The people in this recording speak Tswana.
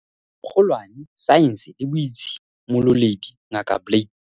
Kgo lwane, Saense le Boitshi mololedi, Ngaka Blade